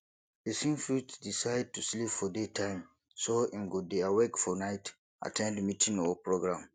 persin fit decide to sleep for day time so im go de awake for night at ten d meeting or programme